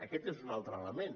aquest és un altre element